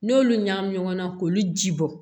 N'olu ɲagami ɲɔgɔn na k'olu ji bɔ